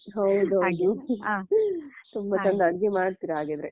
ಹೌದೌದು ತುಂಬಾ ಚಂದ ಅಡುಗೆ ಮಾಡ್ತಿರಾ ಹಾಗಿದ್ರೆ